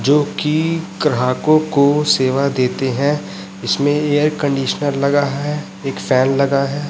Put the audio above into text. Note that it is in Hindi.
जो कि ग्राहकों को सेवा देते हैं इसमें एयर कंडीशनर लगा है एक फैन लगा है।